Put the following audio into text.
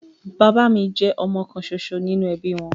Bàbá mi jẹ́ ọmọ kan ṣoṣo nínú ẹbí wọn